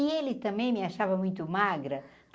E ele também me achava muito magra.